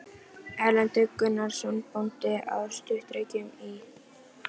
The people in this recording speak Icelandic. Erlendur Gunnarsson bóndi á Sturlureykjum í